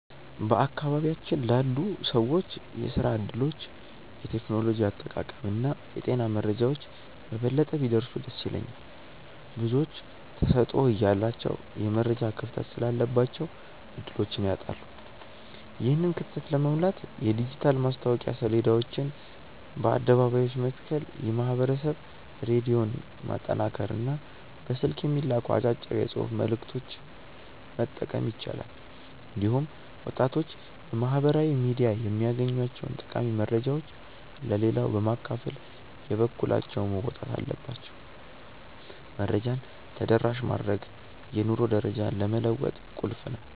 በአካባቢያችን ላሉ ሰዎች የሥራ ዕድሎች፣ የቴክኖሎጂ አጠቃቀምና የጤና መረጃዎች በበለጠ ቢደርሱ ደስ ይለኛል። ብዙዎች ተሰጥኦ እያላቸው የመረጃ ክፍተት ስላለባቸው ዕድሎችን ያጣሉ። ይህንን ክፍተት ለመሙላት የዲጂታል ማስታወቂያ ሰሌዳዎችን በአደባባዮች መትከል፣ የማኅበረሰብ ሬዲዮን ማጠናከርና በስልክ የሚላኩ አጫጭር የጽሑፍ መልዕክቶችን መጠቀም ይቻላል። እንዲሁም ወጣቶች በማኅበራዊ ሚዲያ የሚያገኟቸውን ጠቃሚ መረጃዎች ለሌላው በማካፈል የበኩላቸውን መወጣት አለባቸው። መረጃን ተደራሽ ማድረግ የኑሮ ደረጃን ለመለወጥ ቁልፍ ነው።